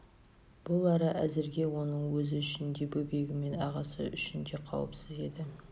бұл ара әзірге оның өзі үшін де бөбегі мен ағасы үшін де қауіпсіз еді